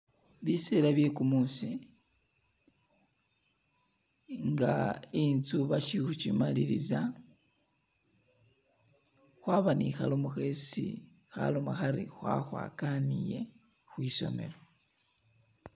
Biseela bye kumuusi nga inzu basiili khu kimaliliza , khwaba ne khalomo khesi khaloma khari khwakhwa kaniile khwisomelo.